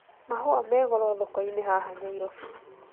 Mahũa me goro thoko-inĩ haha Nyairobi